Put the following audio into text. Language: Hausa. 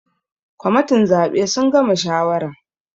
Members of the electoral committee have finished deciding